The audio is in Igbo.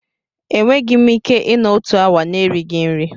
Enweghị m ike ịnọ otu awa na-erighị nri.